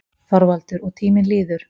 ÞORVALDUR: Og tíminn líður.